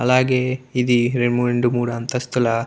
అలాగే ఇది రెండు మూడు అంతస్తుల --